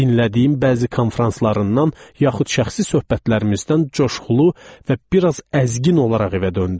Dinlədiyim bəzi konfranslarından yaxud şəxsi söhbətlərimizdən coşqulu və bir az əzgin olaraq evə döndüm.